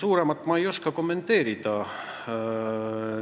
Suuremat ma siin kommenteerida ei oska.